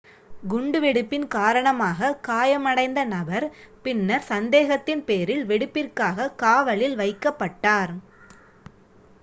குண்டு வெடிப்பின் காரணமாக காயமடைந்த நபர் பின்னர் சந்தேகத்தின் பேரில் வெடிப்பிற்காக காவலில் வைக்கப்பட்டார்